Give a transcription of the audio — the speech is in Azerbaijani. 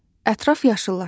Ətraf yaşıllaşır.